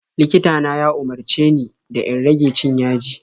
Likita na ya umarce ni da in rage cin yaji.